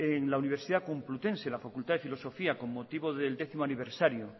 en la universidad complutense en la facultad de filosofía con motivo del décimo aniversario